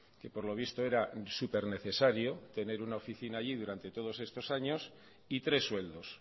que por lo visto era super necesario tener una oficina allí durante todos estos años y tres sueldos